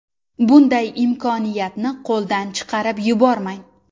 Bunday imkoniyatni qo‘ldan chiqarib yubormang!